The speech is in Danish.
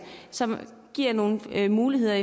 som giver nogle muligheder